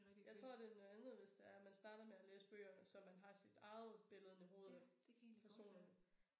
Jeg tror det noget andet hvis det er man starter med at læse bøgere og så man har sit eget billede inde i hovedet af personerne